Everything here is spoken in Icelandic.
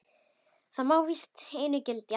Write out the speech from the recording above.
Það má víst einu gilda.